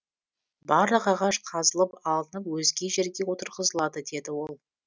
барлық ағаш қазылып алынып өзге жерге отырғызылады деді ол